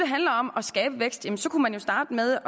handler om at skabe vækst kunne man jo starte med